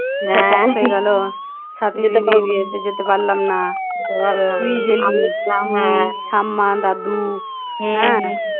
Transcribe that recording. সাথী দিদির বিয়েতে যেতে পারলাম না তুই গেলি ঠাম্মা দাদু হ্যাঁ